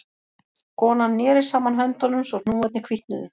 Konan neri saman höndunum svo hnúarnir hvítnuðu